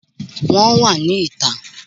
Wọ́n wà ní ìta